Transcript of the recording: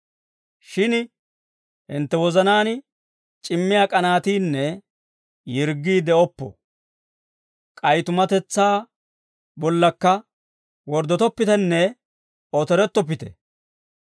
Shin hintte wozanaan c'ammiyaa k'anaatiinne yirggii de'oppo. K'ay tumatetsaa bollaakka worddotoppitenne otorettoppite.